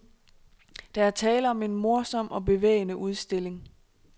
Der er tale om en morsom og bevægende udstilling.